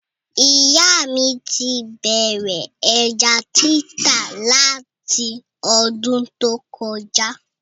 Ìyá mí ti bẹ̀rẹ̀ ẹja títà lati ọdún tó kọjá